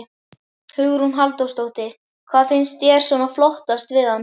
Hugrún Halldórsdóttir: Hvað finnst þér svona flottast við hann?